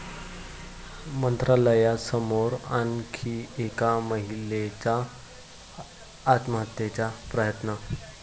मंत्रालयासमोर आणखी एका महिलेचा आत्महत्येचा प्रयत्न